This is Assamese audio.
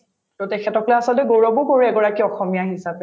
to তেখেতৰ গৌৰৱো কৰো এগৰাকী অসমীয়া হিচাপে